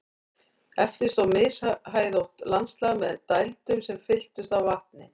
Eftir stóð mishæðótt landslag með dældum sem fylltust af vatni.